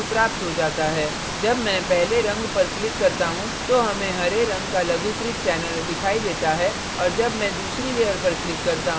जब मैं पहली layer पर click करता हूँ तो हमें हरे रंग का लघुकृत channel दिखाई देता है और जब मैं दूसरी layer पर click करता हूँ तो इसमें थोड़ा नीला रंग मिल जाता है